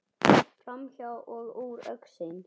Framhjá og úr augsýn.